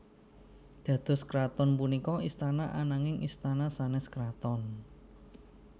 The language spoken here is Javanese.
Dados kraton punika istana ananing istana sanes kraton